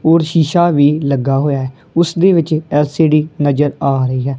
ਔਰ ਸ਼ੀਸ਼ਾ ਵੀ ਲੱਗਾ ਹੋਇਆ ਐ ਉਸ ਦੇ ਵਿੱਚ ਐਲ_ਸੀ_ਡੀ ਨਜ਼ਰ ਆ ਰਹੀ ਐ।